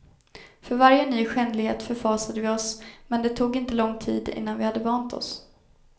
För varje ny skändlighet förfasade vi oss, men det tog inte lång tid innan vi hade vant oss.